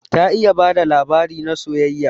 Ta iya bada labarai na soyayya.